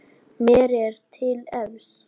Mér er til efs.